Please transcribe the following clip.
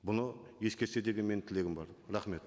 бұны ескерсе деген менің тілегім бар рахмет